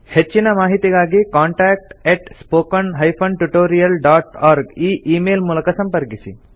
ಹೆಚ್ಚಿನ ಮಾಹಿತಿಗಾಗಿ contact spoken tutorialorg ಈ ಈ ಮೇಲ್ ಮೂಲಕ ಸಂಪರ್ಕಿಸಿ